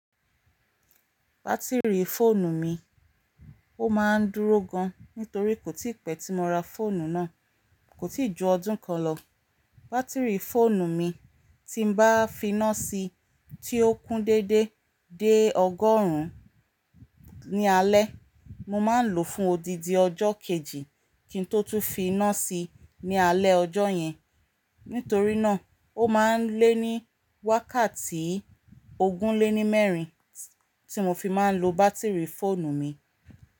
Bátìrì fóònù mi, ó máa ń dúró gan, nítorí kò tí pẹ́ tí mo ra fóònù náà. Kò tí ju ọdún kan lọ. Bátìrì fóònù mi tí n bá fi iná si tí ó kún déédé dé ọgọ́rùn-ún ní alẹ́, mo máa ń lò ó fún odidi ọjọ́ kejì kí n tótú fi iná si ní alẹ́ ọjọ́ yẹn. Nítorí náà, ó máa ń lé ní wákàtí ogún lé ní mẹ́rin tí mo fi máa ń lo bátìrì fóònù mi.